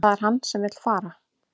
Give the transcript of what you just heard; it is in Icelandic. Það er hann sem vill fara